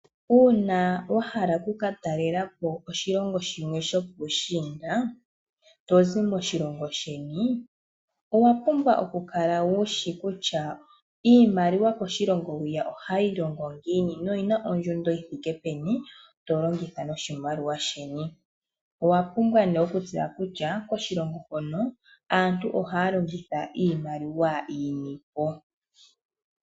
Uuna wa hala oku ka talela po oshilongo shimwe shopuushiinda to zi moshilongo sheni, owa pumbwa okukala wu shi kutya iimaliwa koshilongo hwiya ohayi longo ngiini noyi na ondjundo yi thike peni okuyelekanitha noshilongo sheni. Owa pumbwa okutseya kutya koshilongo hono aantu ohaya longitha iimaliwa yini po.